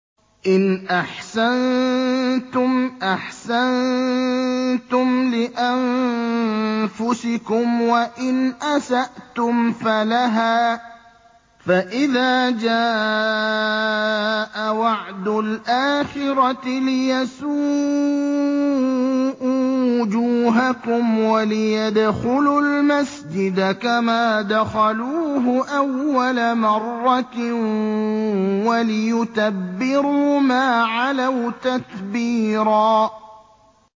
إِنْ أَحْسَنتُمْ أَحْسَنتُمْ لِأَنفُسِكُمْ ۖ وَإِنْ أَسَأْتُمْ فَلَهَا ۚ فَإِذَا جَاءَ وَعْدُ الْآخِرَةِ لِيَسُوءُوا وُجُوهَكُمْ وَلِيَدْخُلُوا الْمَسْجِدَ كَمَا دَخَلُوهُ أَوَّلَ مَرَّةٍ وَلِيُتَبِّرُوا مَا عَلَوْا تَتْبِيرًا